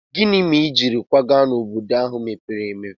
Gịnị mere i ji kwaga n'obodo ahụ mepere emepe?